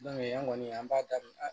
an kɔni an b'a daminɛ